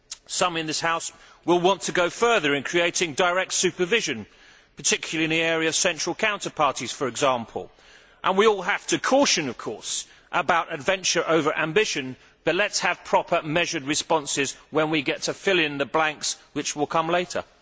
Some in this House will want to go further in creating direct supervision, particularly in the area of central counterparties, for example. We all have to caution against adventure over ambition, but let us have proper measured responses when we get to fill in the blanks which will come later.